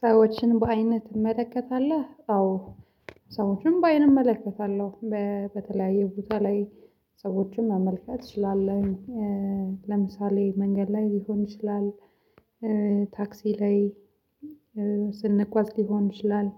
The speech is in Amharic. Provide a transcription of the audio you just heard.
ሰዎችን በአይንህ ትመለከታለህ? አዎ ሰዎችን በአይን እመለከታለሁ። በተለያየ ቦታ ላይ ሰዎችን መመልከት እችላለሁኝ። ለምሳሌ መንገድ ላይ ሊሆን ይችላል። ታክሲ ላይ ስንጓዝ ሊሆን ይችላል